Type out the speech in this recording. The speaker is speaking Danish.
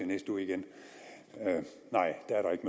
næste uge igen nej